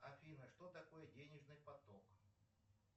афина что такое денежный поток